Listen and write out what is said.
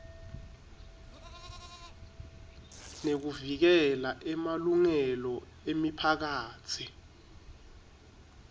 nekuvikela emalungelo emiphakatsi